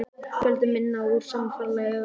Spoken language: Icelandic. Fjöldi mynda úr sama ferðalagi eða öðrum ámóta.